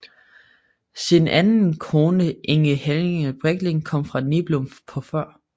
Sin anden kone Inge Helenge Breckling kom fra Niblum på Før